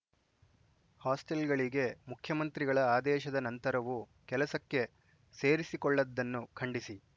ಹಾಸ್ಟೆಲ್‌ಗಳಿಗೆ ಮುಖ್ಯಮಂತ್ರಿಗಳ ಆದೇಶದ ನಂತರವೂ ಕೆಲಸಕ್ಕೆ ಸೇರಿಸಿಕೊಳ್ಳದ್ದನ್ನು ಖಂಡಿಸಿ